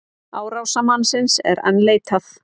Árásarmannsins enn leitað